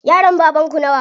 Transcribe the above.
Yaran baban ku nawa?